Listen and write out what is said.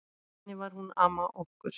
Þannig var hún amma okkur.